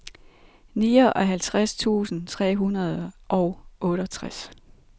nioghalvtreds tusind tre hundrede og otteogtres